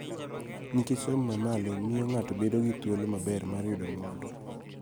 Nikech somo ma malo miyo ng�ato bedo gi thuolo maber mar yudo mwandu.